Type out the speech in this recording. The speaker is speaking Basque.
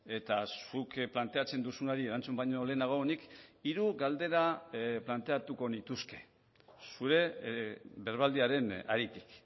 eta zuk planteatzen duzunari erantzun baino lehenago nik hiru galdera planteatuko nituzke zure berbaldiaren haritik